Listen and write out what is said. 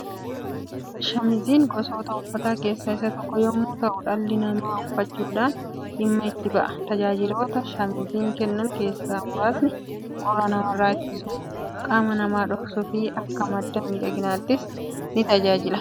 Shaamiziin gosoota uffataa keessaa isa tokko yemmuu ta'u dhalli namaa uffachuudhaan dhimma itti ba'a. Tajaajiloota shaamiziin kennan keessaa muraasni qorra namarraa ittisuu, qaama namaa dhoksuu fi akka madda midhaaginnaattis ni tajaajila.